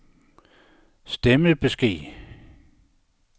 stemmebesked